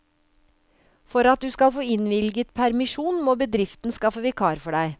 For at du skal få innvilget permisjon, må bedriften skaffe vikar for deg.